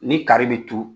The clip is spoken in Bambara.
Ni kari bɛ turu